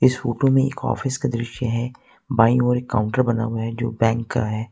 इस फोटो में एक ऑफिस का दृश्य है बाईं ओर एक काउंटर बना हुआ है जो बैंक का है।